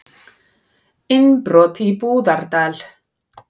Innbrot í Búðardal